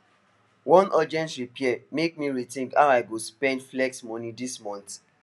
one urgent repair make me rethink how i go spend flex money this month